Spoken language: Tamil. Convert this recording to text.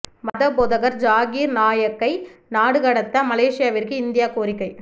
மத போதகர் ஜாகீர் நாயக்கை நாடு கடத்த மலேசியாவிற்கு இந்தியா கோரிக்கை